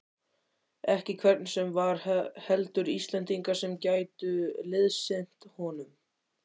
Ekki hvern sem var, heldur Íslendinga sem gætu liðsinnt honum.